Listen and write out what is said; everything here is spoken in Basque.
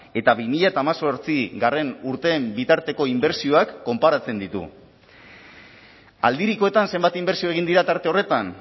eta bi mila hemezortzigarrena urteen bitarteko inbertsioak konparatzen ditu aldirikoetan zenbat inbertsio egin dira tarte horretan